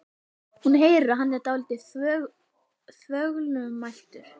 Hún heyrir að hann er dálítið þvoglumæltur.